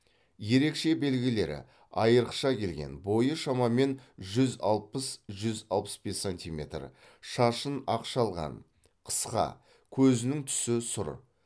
ерекше белгілері арықша келген бойы шамамен жүз алпыс жүз алпыс бес сантиметр шашын ақ шалған қысқа көзінің түсі сұр